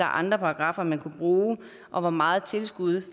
andre paragraffer man kan bruge og hvor meget tilskud